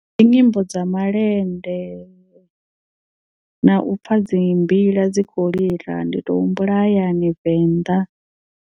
Ndi nyimbo dza malende na u pfha dzi mbila dzi kho lila ndi to humbula hayani venḓa.